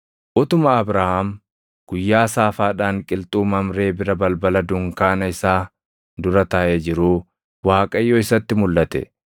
Utuma Abrahaam guyyaa saafaadhaan qilxuu Mamree bira balbala dunkaana isaa dura taaʼee jiruu Waaqayyo isatti mulʼate.